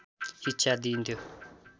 शिक्षा दिइन्थ्यो।